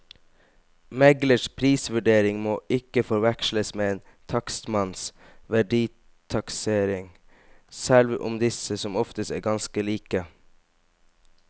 Meglers prisvurdering må ikke forveksles med en takstmanns verditaksering, selv om disse som oftest er ganske like.